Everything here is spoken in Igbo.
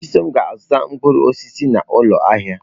Chisom ga-azụta mkpụrụ osisi n'ụlọ ahịa.